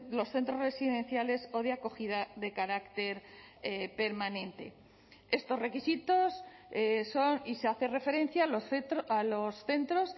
los centros residenciales o de acogida de carácter permanente estos requisitos son y se hace referencia a los centros